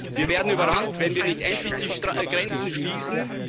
Wir werden überrannt, wenn wir nicht endlich die Grenzen schließen.